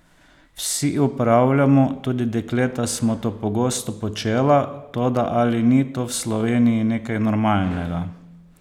Vsi opravljamo, tudi dekleta smo to pogosto počela, toda ali ni to v Sloveniji nekaj normalnega?